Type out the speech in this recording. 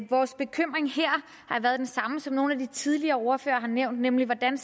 vores bekymring her har været den samme som den nogle af de tidligere ordførere har nævnt nemlig hvordan